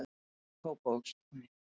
Kópavogstúni